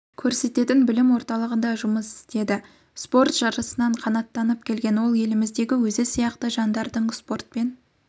көрсететін білім орталығында жұмыс істейді спорт жарысынан қанаттанып келген ол еліміздегі өзі сияқты жандардың спортпен